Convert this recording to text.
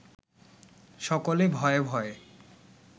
সকলে ভয়ে ভয়ে